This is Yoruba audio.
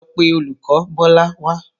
Lọ pe olùkọ̀ Bọ́lá wá!